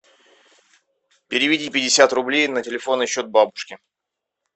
переведи пятьдесят рублей на телефонный счет бабушки